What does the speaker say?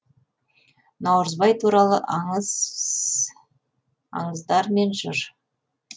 наурызбай туралы аңыздар мен жыр